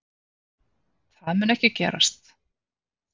Það mun ekki gerast